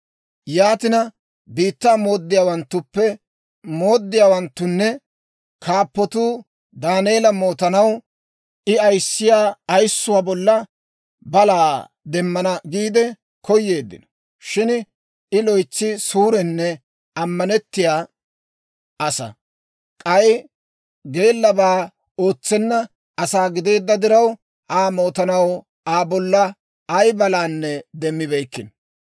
Yaatina, biittaa mooddiyaawanttunne kaappatuu Daaneela mootanaw, I ayissiyaa ayissuwaa bolla balaa demmana giide koyeeddino. Shin I loytsi suurenne ammanettiyaa asaa; k'ay geellabaa ootsenna asaa gideedda diraw, Aa mootanaw Aa bolla ay balanne demmibeykkino.